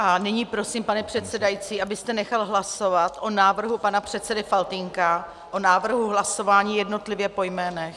A nyní prosím, pane předsedající, abyste nechal hlasovat o návrhu pana předsedy Faltýnka, o návrhu hlasování jednotlivě po jménech.